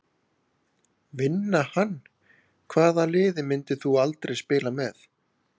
Vinna hann Hvaða liði myndir þú aldrei spila með?